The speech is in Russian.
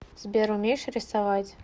сбер умеешь рисовать